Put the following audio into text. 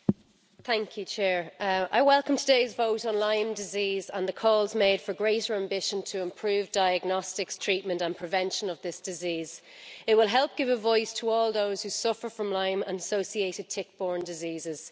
Mr President, I welcome today's vote on Lyme disease and the calls made for greater ambition to improve diagnostics treatment and prevention of this disease. It will help give a voice to all those who suffer from Lyme and associated tick borne diseases.